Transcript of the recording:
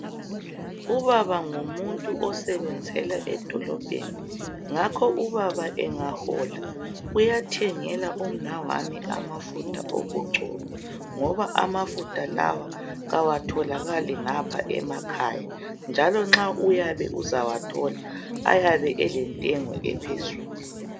Ubaba ngumuntu osebenzela edolobheni, ngakho ubaba engahola, uyathengela umnawami amafutha okugcoba, ngoba amafutha lawa, kawatholakali ngapha emakhaya, njalo nxa uyabe uzawathola, ayabe elentengo ephezulu.